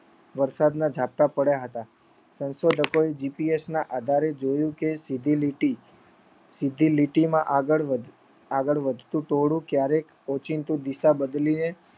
વરસાદના ઝાપટા પડ્યા હતા. સંશોધકો GPS ના આધારે જોયું કે સીધી લીટી સીધી લીટીમાં આગળ વધ્યું ટોળું ક્યારેક ઓચિંતું દિશા બદલીને